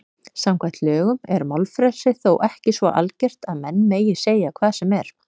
Samkvæmt lögum er málfrelsi þó ekki svo algert að menn megi segja hvað sem er.